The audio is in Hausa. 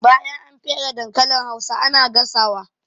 Bayan an fere dankalin hausa ana gasa wa